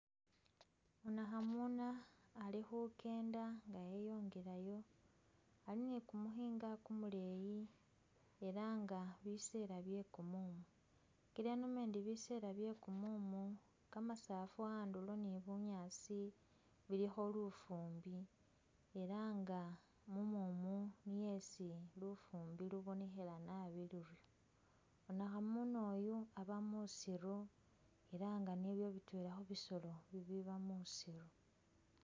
Wanakhamuna alikhukenda nga eyongelayo elah alii ni'kumukhinga kumuleeyi elah nga bisela bye'kumumu kila indomandi bisela byekumumu, kamasafu ni bunyaasi andulo bilikho lufumbi nga mumumu niyo isi lufumbi lubonekhela naabi luri wanakhamuna oyu aba musiru elah niye khubisolo bitwela biba musiru